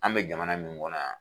An bɛ jamana min kɔnɔ yan